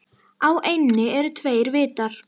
Á eynni eru tveir vitar.